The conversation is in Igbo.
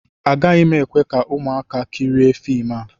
Agaghị m ekwe ka ụmụaka kirie fim a